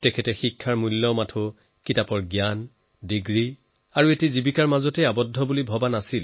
তেওঁ শিক্ষাক কেৱল কিতাপৰ জ্ঞান ডিগ্ৰী আৰু চাকৰিতে সীমাবদ্ধ বুলি ধাৰণা কৰা নাছিল